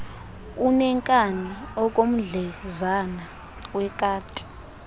uneenkani okomdlezana wekati